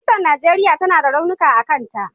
Tutar Najeriya tana da launuka a kanta.